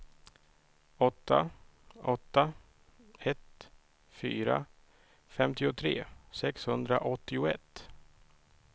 åtta åtta ett fyra femtiotre sexhundraåttioett